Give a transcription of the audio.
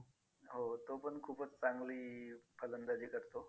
हो तो पण खूपच चांगली फलंदाजी करतो.